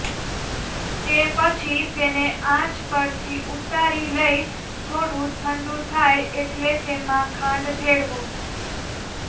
તે પછી તેને આંચ પરથી ઉતારી લઇ થોડું ઠંડું થાય એટલે તેમાં ખાંડ ભેળવો